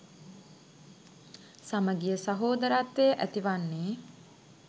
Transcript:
සමගිය සහෝදරත්වය ඇති වන්නේ.